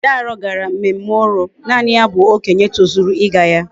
Dayo gara mmemme oro. naani ya bu okenye tozuru íga ya